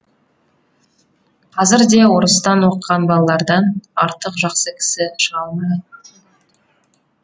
қазір де орыстан оқыған балалардан артық жақсы кісі шыға алмай